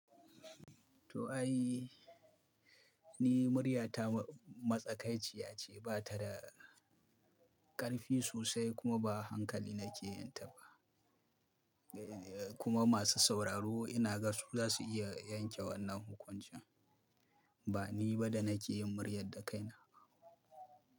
To ai, ni murya ta matsakaiciya ce, ba ta da ƙarfi sosai kuma ba hankali na ke yin ta ba. Kuma masu sauraro ina ga su za su iya yanke wannan hukuncin. Ba ni ba da na ke yin muryar da kaina.